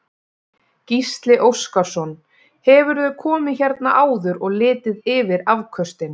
Gísli Óskarsson: Hefurðu komið hérna áður og litið yfir afköstin?